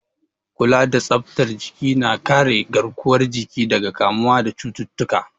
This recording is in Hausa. Kula da tsaftar jiki na kare garkuwar jiki daga kamuwa da cututtuka.